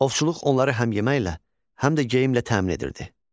Ovçuluq onları həm yeməklə, həm də geyimlə təmin edirdi.